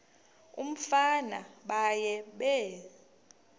umfana baye bee